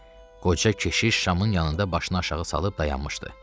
Qoca keşiş şamın yanında başını aşağı salıb dayanmışdı.